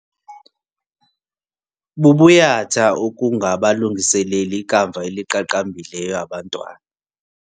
Bubuyatha ukungabalungiseleli ikamva eliqaqambileyo abantwana.